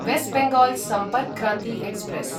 waste Bengal Sampark Kranti express